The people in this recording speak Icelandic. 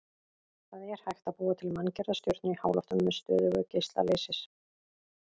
Það er hægt að búa til manngerða stjörnu í háloftunum með stöðugum geisla leysis.